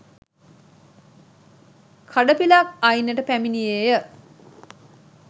කඩපිලක් අයිනට පැමිණියේ ය.